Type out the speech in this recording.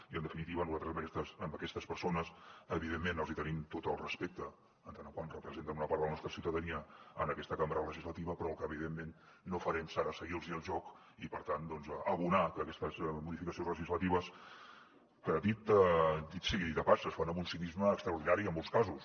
i en definitiva nosaltres a aquestes persones evidentment els hi tenim tot el respecte en tant que representen una part de la nostra ciutadania en aquesta cambra legislativa però el que evidentment no farem serà seguir los el joc i per tant abonar aquestes modificacions legislatives que dit sigui de pas es fan amb un cinisme extraordinari en molts casos